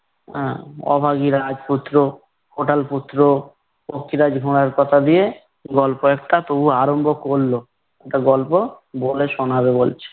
আহ অভাগী রাজপুত্র, কোটাল পুত্র, পঙ্ক্ষিরাজ ঘোড়ার কথা দিয়ে গল্প একটা তবু আরম্ভ করলো। একটা গল্প বলে শোনাবে বলছে।